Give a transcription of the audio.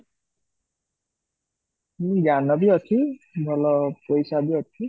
ହୁଁ ଜ୍ଞାନ ବି ଅଛି ଭଲ ପଇସା ବି ଅଛି